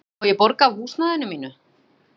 Má ég borga af húsnæðinu mínu?